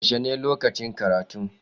Yaushe ne lokacin karatu?